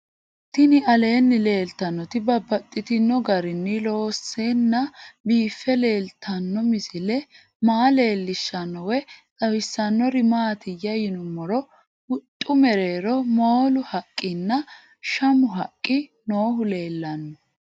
Tinni aleenni leelittannotti babaxxittinno garinni loonseenna biiffe leelittanno misile maa leelishshanno woy xawisannori maattiya yinummoro huxxu mereerro moolu haqqinna Shamu haqqi noohu leelanno